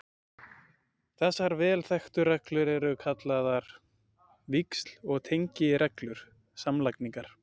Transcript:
Þessar vel þekktu reglur eru kallaðar víxl- og tengiregla samlagningar.